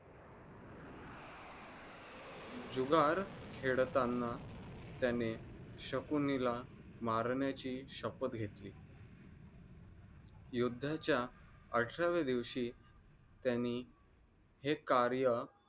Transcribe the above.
जुगार खेळतांना त्याने शकुनीला मारण्याची शपथ गेतली. युद्धाचा अठराहवे दिवशी त्यानी हे कार्य